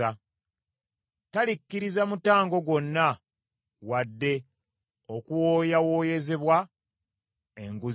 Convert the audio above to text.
Talikkiriza mutango gwonna, wadde okuwooyawooyezebwa enguzi ennene.